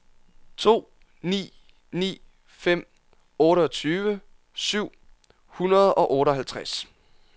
to ni ni fem otteogtyve syv hundrede og otteoghalvtreds